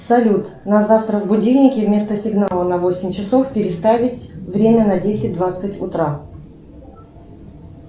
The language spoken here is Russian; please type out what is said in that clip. салют на завтра в будильнике вместо сигнала на восемь часов переставить время на десять двадцать утра